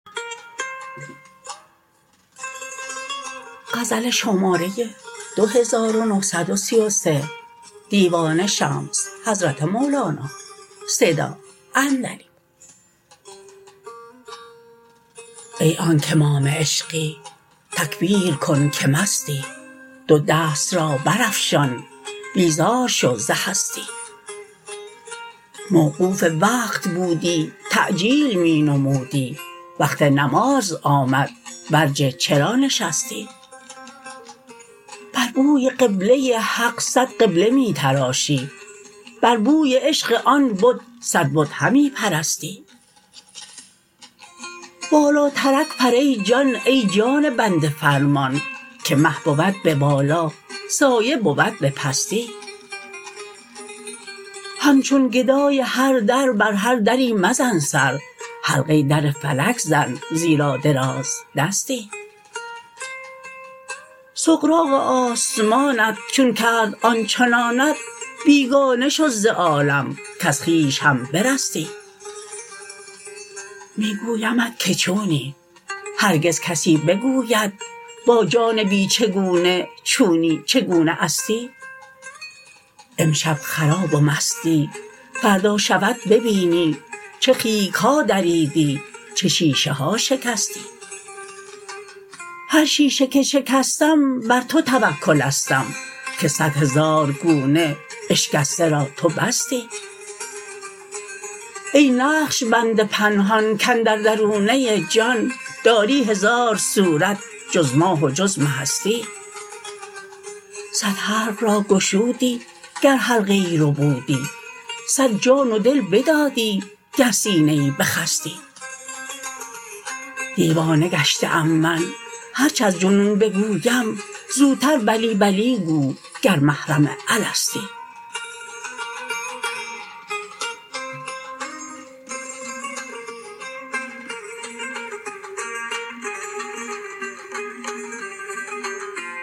ای آنک امام عشقی تکبیر کن که مستی دو دست را برافشان بیزار شو ز هستی موقوف وقت بودی تعجیل می نمودی وقت نماز آمد برجه چرا نشستی بر بوی قبله حق صد قبله می تراشی بر بوی عشق آن بت صد بت همی پرستی بالاترک پر ای جان ای جان بنده فرمان که مه بود به بالا سایه بود به پستی همچون گدای هر در بر هر دری مزن سر حلقه در فلک زن زیرا درازدستی سغراق آسمانت چون کرد آن چنانت بیگانه شو ز عالم کز خویش هم برستی می گویمت که چونی هرگز کسی بگوید با جان بی چگونه چونی چگونه استی امشب خراب و مستی فردا شود ببینی چه خیک ها دریدی چه شیشه ها شکستی هر شیشه که شکستم بر تو توکلستم که صد هزار گونه اشکسته را تو بستی ای نقش بند پنهان کاندر درونه ای جان داری هزار صورت جز ماه و جز مهستی صد حلق را گشودی گر حلقه ای ربودی صد جان و دل بدادی گر سینه ای بخستی دیوانه گشته ام من هر چه از جنون بگویم زودتر بلی بلی گو گر محرم الستی